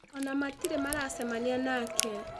Ona matirĩ maracemania nake